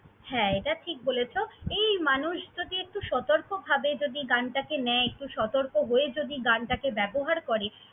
হ্যাঁ, এটা ঠিক বলেছ। এই মানুষ যদি একটু সতর্কভাবে যদি গানটাকে নেয়, একটু সতর্ক হয়ে গানটাকে ব্যবহার করে।